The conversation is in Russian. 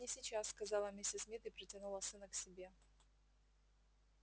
нет не сейчас сказала миссис мид и притянула сына к себе